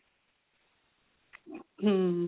hm